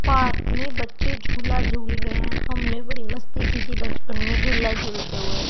Park में बच्चे झूला झूल रहें हैं हमने बड़ी मस्ती की थी बचपन में झूला झूलते हुए।